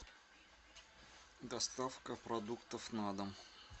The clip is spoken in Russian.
доставка продуктов на дом